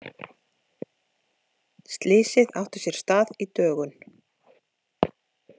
Slysið átti sér stað í dögun